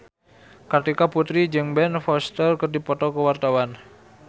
Kartika Putri jeung Ben Foster keur dipoto ku wartawan